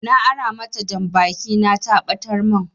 Na ara mata janbaki na ta ɓatar min